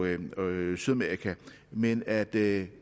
japan og sydamerika men at det